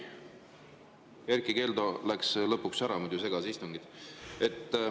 Erkki Keldo läks lõpuks ära, muidu segas istungit.